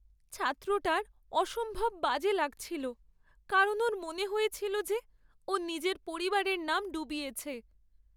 ছাত্রটার অসম্ভব বাজে লাগছিলো কারণ ওর মনে হয়েছিল যে ও নিজের পরিবারের নাম ডুবিয়েছে।